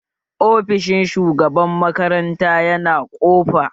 Ofishin shugaban makaranta yana ƙofa?